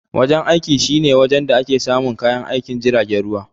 Wajen aiki shine wajen da ake samun kayan aikin jiragen ruwa.